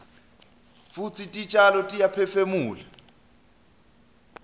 futsi titjalo tiyaphefumula